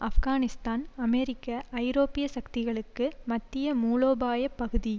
ஆஃப்கானிஸ்தான் அமெரிக்க ஐரோப்பிய சக்திகளுக்கு மத்திய மூலோபாய பகுதி